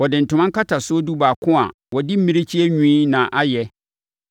Wɔde ntoma nkatasoɔ dubaako a wɔde mmirekyie nwi na ayɛ